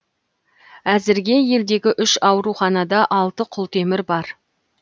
әзірге елдегі үш ауруханада алты құлтемір бар